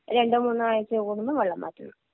രണ്ടോ മൂന്നോ ആഴ്ച കൂടുമ്പോ വെള്ളം മാറ്റുന്നു.